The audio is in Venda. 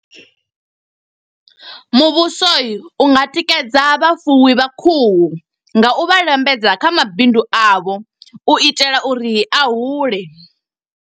Muvhuso unga tikedza vhafuwi vha khuhu, nga u vha lambedza kha mabindu avho. U itela uri a hule.